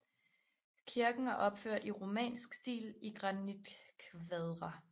Kirken er opført i Romansk stil i granitkvadre